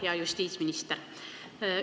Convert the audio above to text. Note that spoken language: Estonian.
Hea justiitsminister!